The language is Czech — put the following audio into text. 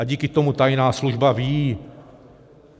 A díky tomu tajná služba ví...